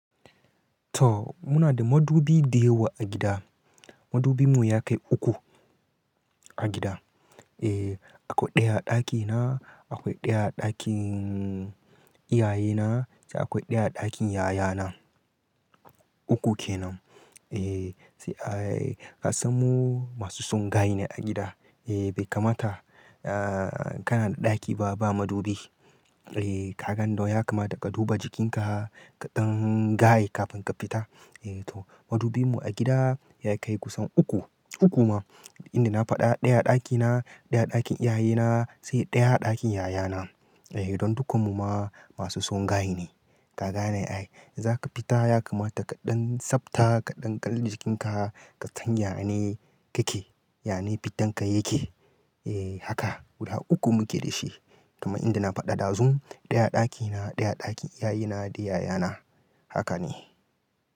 To muna da madubi dayawa a gida. Madubin mu ya kai uku a gida. Eh akwai ɗaya a ɗakina, akwai ɗaya a ɗakin iyayena sai akwai ɗaya a ɗakin yayana. Uku kenan. Eh sai a asammu masu son gaye ne a gida. Eh bai kamata ah kana da ɗaki ba, ba madubi. Eh ka gan don ya kamata ka duba jikinka kaɗan gaye kafin ka fita. Eh to madubin mu a gida ya kai kusan uku, uku ma inda na faɗa ɗaya a ɗakina, ɗaya a ɗakin iyayena sai ɗaya a ɗakin yayana. Eh don dukannin mu ma masu son gaye ne. Ka gane ai zaka fita ya kamata kaɗan tsafta kaɗan kalli jikinka, ka san yane kake, yane fitan ka yake. Eh haka guda uku muke da shi. Kamar inda na faɗa dazun ɗaya a ɗakina, ɗaya a ɗakin iyayena da yayana. Haka ne.